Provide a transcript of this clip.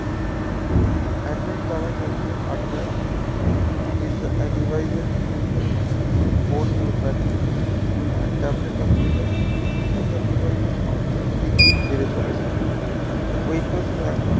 android দ্বারা চালিত hardwaredevice এর বিভিন্ন phone এবং battery গুলি tablet computer তথা device এর সংখ্যা দিন দিন বেড়ে চলেছে windows